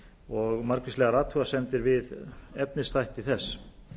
og margvíslegar athugasemdir við efnisþætti þess